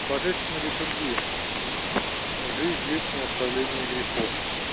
божественная литургия в жизнь вечную оставление грехов